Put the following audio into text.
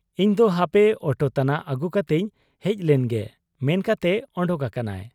ᱤᱧᱫᱚ ᱦᱟᱯᱮ ᱚᱴᱳ ᱛᱟᱱᱟᱜ ᱟᱹᱜᱩ ᱠᱟᱛᱮᱧ ᱦᱮᱡ ᱞᱮᱱ ᱜᱮ' ᱢᱮᱱ ᱠᱟᱛᱮ ᱚᱰᱚᱠ ᱟᱠᱟᱱᱟᱭ ᱾